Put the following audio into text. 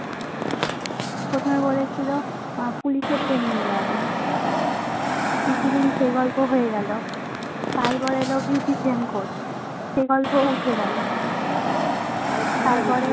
প্রথমে বলেছিলো police এর training দেওয়াবে কিছুদিন সে গল্প হয়ে গেলো তারপর এলো beautician course সে গল্প উঠে গেলো